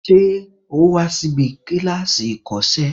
Ṣé o wa síbi kíláàsì ìkọ́sẹ́